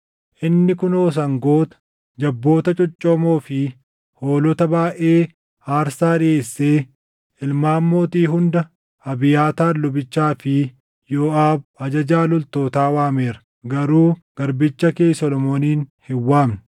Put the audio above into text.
Inni kunoo sangoota, jabboota coccoomoo fi hoolota baayʼee aarsaa dhiʼeessee ilmaan mootii hunda, Abiyaataar lubichaa fi Yooʼaab ajajaa loltootaa waameera; garuu garbicha kee Solomoonin hin waamne.